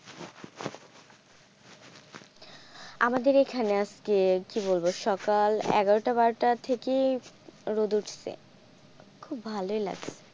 আমাদের এখানে আজকে কি বলবো সকাল এগারো টা বারোটা থেকেই রোদ উঠসে খুব ভালই লাগে।